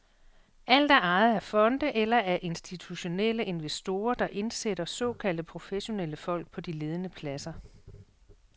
Alt er ejet af fonde eller af institutionelle investorer, der indsætter såkaldte professionelle folk på de ledende pladser.